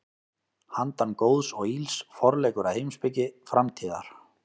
Handan góðs og ills: Forleikur að heimspeki framtíðar.